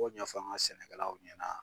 B'o ɲɛfɔ an ŋa sɛnɛkɛlaw ɲɛna